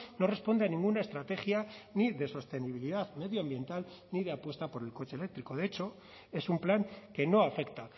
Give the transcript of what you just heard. no responde a ninguna estrategia ni de sostenibilidad medioambiental ni de apuesta por el coche eléctrico de hecho es un plan que no afecta